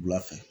Wula fɛ